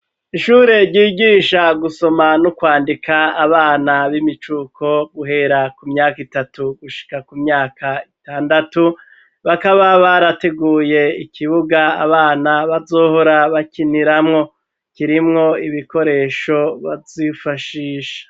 Ishure ryigisha gusoma no kwandika abana b'imicuko guhera ku myaka itatu gushika ku myaka itandatu bakaba barateguye ikibuga abana bazohora bakiniramwo kirimwo ibikoresho bazifashisha